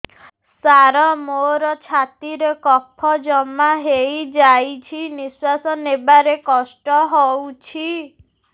ସାର ମୋର ଛାତି ରେ କଫ ଜମା ହେଇଯାଇଛି ନିଶ୍ୱାସ ନେବାରେ କଷ୍ଟ ହଉଛି